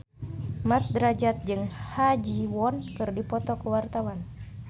Mat Drajat jeung Ha Ji Won keur dipoto ku wartawan